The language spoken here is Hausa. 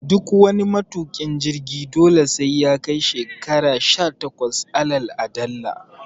Duk wani matuƙin jirgi dole sai yakai shekara sha takwas alal aɗalla